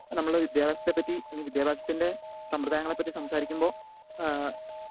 speaker 2 നമ്മള് വിദ്യാഭ്യാസത്തെപ്പറ്റി അല്ലെങ്കിൽ വിദ്യാഭ്യാസത്തിൻ്റെ സമ്പ്രദായങ്ങളെ പറ്റി സംസാരിക്കുമ്പോ ഏഹ്